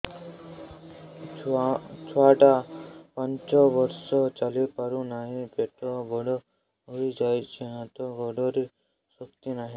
ଛୁଆଟା ପାଞ୍ଚ ବର୍ଷର ଚାଲି ପାରୁ ନାହି ପେଟ ବଡ଼ ହୋଇ ଯାଇଛି ହାତ ଗୋଡ଼ରେ ଶକ୍ତି ନାହିଁ